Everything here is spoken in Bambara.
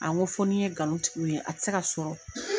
n ko fo ni n ye nkalon tig'u ye a tɛ se ka sɔrɔ.